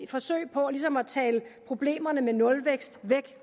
forsøg på ligesom at tale problemerne med nulvækst væk